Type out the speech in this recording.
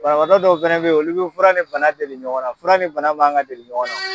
Banabaadɔ dɔw fɛnɛ be olu be fura ni bana deli ɲɔgɔn na fura ni bana manga deli ɲɔgɔn na